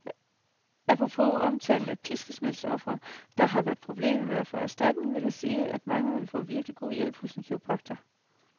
Apropos omtalen af piskesmældsofre, der har problemer med at få erstatning, vil jeg sige, at mange vil få virkelig god hjælp hos en kiropraktor.